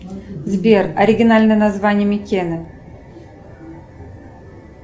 сбер оригинальное название микена